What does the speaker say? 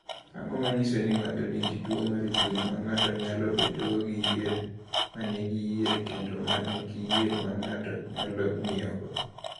"Ang’o ma nyiso ni ng’ato nigi tuwo mar chuny ma ng’ato nyalo bedogo gi yier ma nigi yier kendo ma nigi yier ma ng’ato nyalo ng’iyogo?"